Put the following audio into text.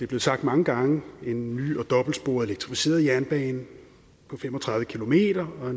blevet sagt mange gange en ny og dobbeltsporet elektrificeret jernbane på fem og tredive km og